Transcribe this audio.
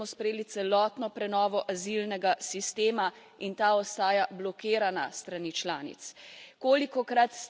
V Evropskem parlamentu smo sprejeli celotno prenovo azilnega sistema in ta ostaja blokirana s strani članic.